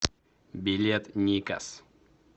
билет никас